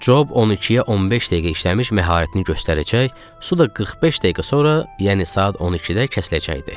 Cob 12-yə 15 dəqiqə işləmiş məharətini göstərəcək, su da 45 dəqiqə sonra, yəni saat 12-də kəsiləcəkdi.